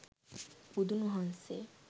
බුදුන් වහන්සේ